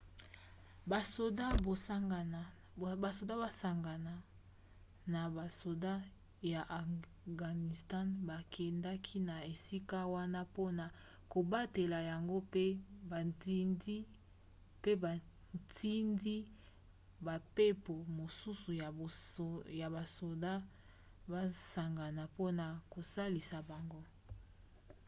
basoda basangana na basoda ya afghanistan bakendaki na esika wana mpona kobatela yango mpe batindi bampepo mosusu ya basoda basangana mpona kosalisa bango